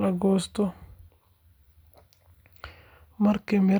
la goosto. Markii miraha.